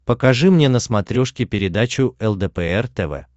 покажи мне на смотрешке передачу лдпр тв